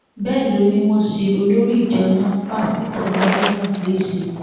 bẹẹ ló ní wọn ṣe olórí ìjọ náà pásítọ haruna léṣe